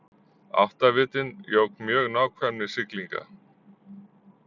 Áttavitinn jók mjög nákvæmni siglinga.